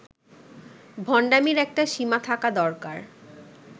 ভন্ডামীর একটা সীমা থাকা দরকার